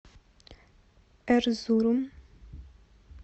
эрзурум